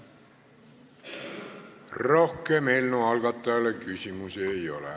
Rohkem eelnõu algatajale küsimusi ei ole.